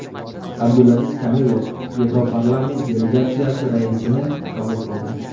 Abdulaziz Kamilov Yevroparlament delegatsiyasi raisini qabul qildi.